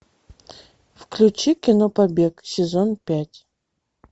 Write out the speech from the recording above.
включи кино побег сезон пять